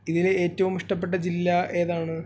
ഇതില് ഏറ്റവും ഇഷ്ടപ്പെട്ട ജില്ല ഏതാണ്